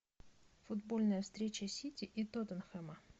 футбольная встреча сити и тоттенхэма